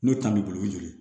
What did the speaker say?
N'o ta b'i bolo o ye joli ye